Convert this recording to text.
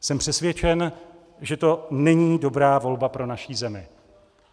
Jsem přesvědčen, že to není dobrá volba pro naši zemi.